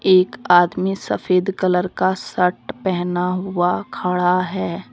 एक आदमी सफेद कलर का शर्ट पहना हुआ खड़ा है।